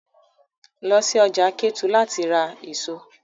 Lọ sí ọjà Kétu láti lọ ra èso!